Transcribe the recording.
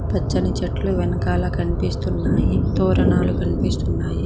పచ్చని చెట్లు వెనకాల కన్పిస్తున్నాయి తోరణాలు కన్పిస్తున్నాయి.